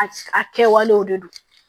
A a kɛwalew de don